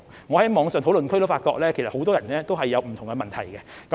我在網上的討論區也發現，很多人也有不同的問題。